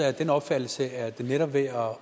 af den opfattelse at netop ved at